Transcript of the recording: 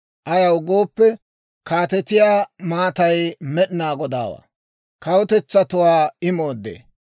Ayaw gooppe, kaatetiyaa maatay Med'inaa Godaawaa; kawutetsatuwaa I mooddee.